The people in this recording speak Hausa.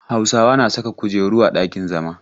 Hausawa na saka kujeru a ɗakin zama.